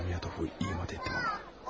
Zamiatovu iyi mat etdim ha!